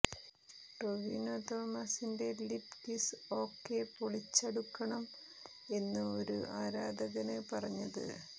ടൊവീനോ തോമസിന്റെ lip kiss okay പൊളിച്ചടുക്കണം എന്ന് ഒരു ആരാധകന് പറഞ്ഞത്